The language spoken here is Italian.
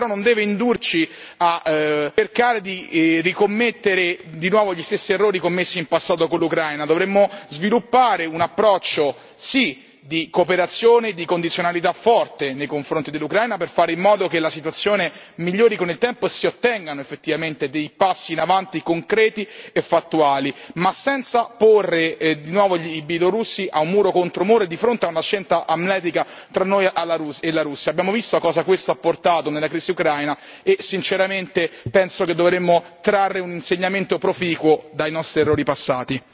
Questo però non deve indurci a cercare di commettere di nuovo gli stessi errori commessi in passato con l'Ucraina dovremmo sviluppare un approccio, sì di cooperazione e di condizionalità forte nei confronti dell'Ucraina per fare in modo che la situazione migliori con il tempo si ottengano effettivamente dei passi in avanti concreti e fattuali, ma senza porre di nuovo i bielorussi al muro contro muro di fronte a una scelta amletica tra noi e la Russia, abbiamo visto a cosa questo ha portato nella crisi ucraina e sinceramente penso che dovremmo trarre un insegnamento proficuo dai nostri errori passati.